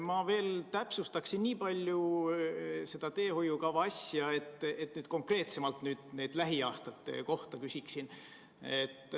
Ma veel täpsustaksin seda teehoiukava asja ja küsin nüüd konkreetsemalt lähiaastate kohta.